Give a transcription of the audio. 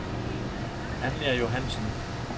Anja Johansson